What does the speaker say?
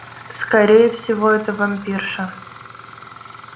скорее всего это вампирша